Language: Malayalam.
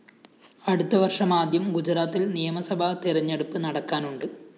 അടുത്ത വര്‍ഷമാദ്യം ഗുജറാത്തില്‍ നിയമസഭാ തെരഞ്ഞെടുപ്പ് നടക്കാനുണ്ട്